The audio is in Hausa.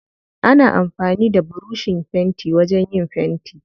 Ana amfani da burushin fenti wajen yin fenti.